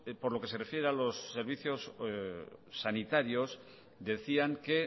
por lo que se refiere a los servicios sanitarios decían que